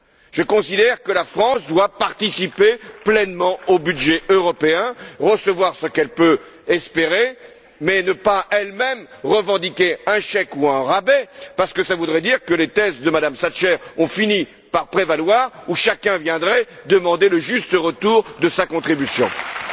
Je considère que la France doit participer pleinement au budget européen, recevoir ce qu'elle peut espérer, mais ne pas elle même revendiquer un chèque ou un rabais, parce que cela voudrait dire que les thèses de Mme Thatcher, selon lesquelles chacun viendrait demander le juste retour de sa contribution, auraient fini